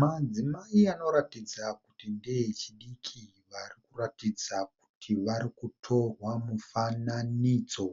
Madzimai anoratidza kuti ndeechidiki varikutorwa mufananidzo,